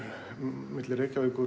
milli Reykjavíkur